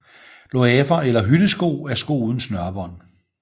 Loafer eller hyttesko er sko uden snørebånd